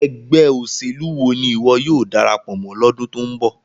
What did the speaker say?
Ẹgbẹ oselu wo ni iwọ yóò darapo mo lodun to nbo?